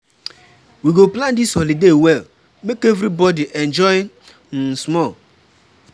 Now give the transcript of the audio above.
We go plan dis holiday well, make everybodi enjoy um small.